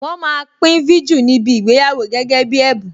Wọn máa pín viju níbi ìgbéyàwó gẹ́gẹ́ bí ẹ̀bùn.